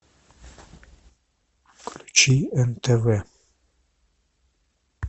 включи нтв